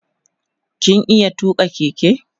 kin iya tuka Keke?